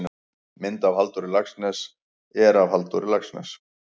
mynd af halldóri laxness er af halldór laxness